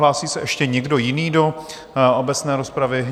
Hlásí se ještě někdo jiný do obecné rozpravy?